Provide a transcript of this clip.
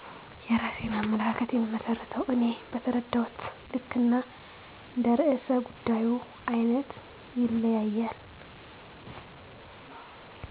የራሴን አመለካከት የምመስርተው እኔ በተረዳሁት ልክ እና እንደ ርዕሰ ጉዳዩ አይነት ይለያያል